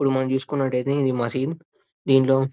ఇప్పుడు మనం చూసుకున్నట్లయితే ఇది మసీద్. దింట్లో--